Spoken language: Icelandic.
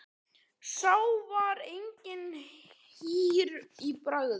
Sá var eigi hýr í bragði.